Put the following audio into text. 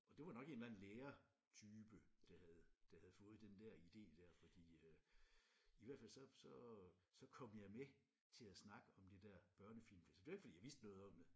Og det var nok en eller anden lærertype der havde der havde fået den der idé der fordi øh i hvert fald så så så kom jeg med til at snakke om det der børnefilmfestival det var ikke fordi jeg vidste noget om det